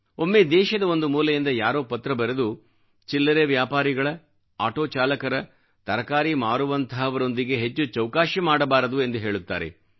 ಒಮ್ಮೆ ದೇಶದ ಒಂದು ಮೂಲೆಯಿಂದ ಯಾರೋ ಪತ್ರ ಬರೆದು ಚಿಲ್ಲರೆ ವ್ಯಾಪಾರಿಗಳ ಆಟೋ ಚಾಲಕರ ತರಕಾರಿ ಮಾರುವಂಥವರೊಂದಿಗೆ ಹೆಚ್ಚು ಚೌಕಾಶಿ ಮಾಡಬಾರದು ಎಂದು ಹೇಳುತ್ತಾರೆ